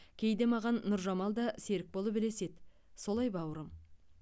кейде маған нұржамал да серік болып ілеседі солай бауырым